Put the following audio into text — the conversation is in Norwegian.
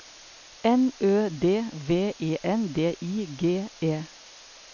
N Ø D V E N D I G E